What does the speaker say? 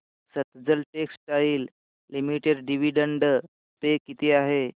Sutlej textiles limited dividend pay किती आहे